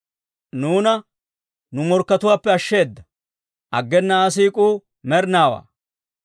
Nuuna nu morkkatuwaappe ashsheeda; aggena Aa siik'uu med'inaawaa.